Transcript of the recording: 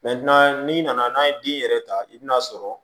n'i nana n'a ye den yɛrɛ ta i bɛ n'a sɔrɔ